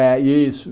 É, isso.